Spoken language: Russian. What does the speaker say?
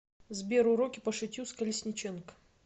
сбер уроки по шитью с колесниченко